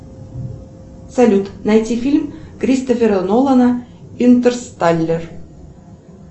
салют найти фильм кристофера нолана интерсталлер